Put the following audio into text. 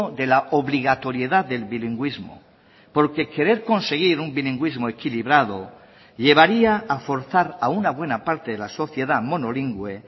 de la obligatoriedad del bilingüismo porque querer conseguir un bilingüismo equilibrado llevaría a forzar a una buena parte de la sociedad monolingüe